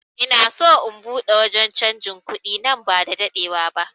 Ina son in buɗe wanje canjin kuɗi nan ba da daɗewa ba